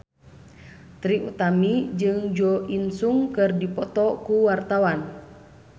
Trie Utami jeung Jo In Sung keur dipoto ku wartawan